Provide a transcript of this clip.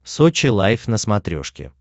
сочи лайф на смотрешке